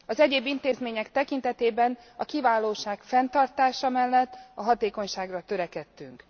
Az egyéb intézmények tekintetében, a kiválóság fenntartása mellett, a hatékonyságra törekedtünk.